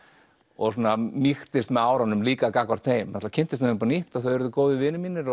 og svona mýkist með árunum líka gagnvart þeim kynntist þeim upp á nýtt og þau urðu góðir vinir mínir